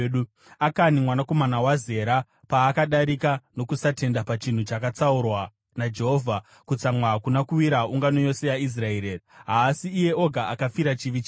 Akani mwanakomana waZera paakadarika nokusatenda pachinhu chakatsaurwa naJehovha, kutsamwa hakuna kuwira ungano yose yaIsraeri here? Haasi iye oga akafira chivi chake.’ ”